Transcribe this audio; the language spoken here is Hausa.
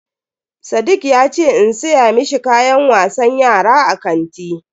Sadiq yace in siya mishi kayan wasan yara a kanti.